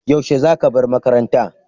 Yaushe za ka bar makaranta?